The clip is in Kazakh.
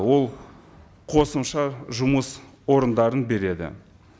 ол қосымша жұмыс орындарын береді